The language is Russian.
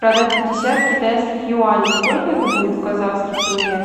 продать пятьдесят китайских юаней сколько это будет в казахских тенге